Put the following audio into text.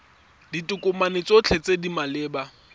ditokomane tsotlhe tse di maleba